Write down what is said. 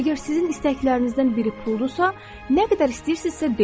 Əgər sizin istəklərinizdən biri puldursa, nə qədər istəyirsinizsə, deyin.